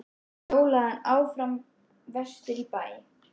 Síðan hjólaði hann áfram vestur í bæ.